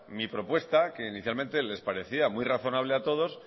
mi propuesta que inicialmente les parecía muy razonable a todos